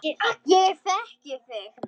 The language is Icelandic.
Ég þekki þig